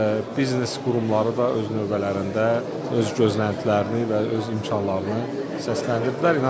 Biznes qurumları da öz növbələrində öz gözləntilərini və öz imkanlarını səsləndirdilər.